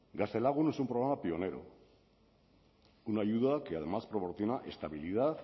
gaztelagun es un programa pionero una ayuda que además proporciona estabilidad